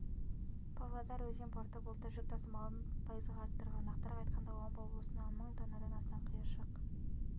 павлодар өзен порты былтыр жүк тасымалын пайызға арттырған нақтырақ айтқанда омбы облысына мың тоннадан астам қиыршық